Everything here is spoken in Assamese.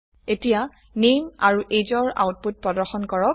এতিয়া নামে আৰু ageৰ আউটপুট প্ৰদৰ্শন কৰক